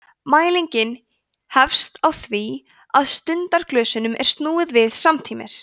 mælingin hefst á því að stundaglösunum er snúið við samtímis